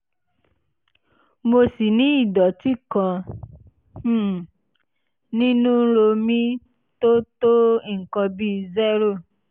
mo sì ní ìdọ̀tí kan um nínú ro mi tó tó nǹkan bí zero